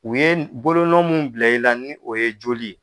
U ye bolonɔn mun bila i la ni o ye joli ye.